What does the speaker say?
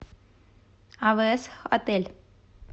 авээс отель